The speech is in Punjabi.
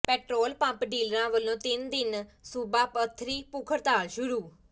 ਪੈਟਰੋਲ ਪੰਪ ਡੀਲਰਾਂ ਵਲੋਂ ਤਿੰਨ ਦਿਨਾ ਸੂਬਾ ਪੱਧਰੀ ਭੁੱਖ ਹੜਤਾਲ ਸ਼ੁਰੂ